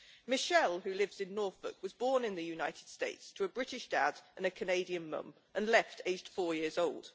Michelle, who lives in Norfolk, was born in the United States to a British dad and a Canadian mum and left aged four years old.